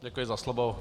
Děkuji za slovo.